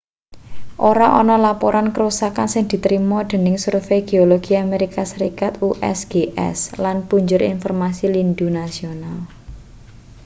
ora ana laporan karusakan sing ditrima dening survei geologi amerika serikat usgs lan punjer informasi lindhu nasional